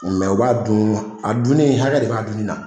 Mais u b'a dun a dunnin hakɛ de b'a dunnin na